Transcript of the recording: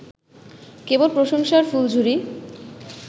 কেবল প্রশংসার ফুলঝুরি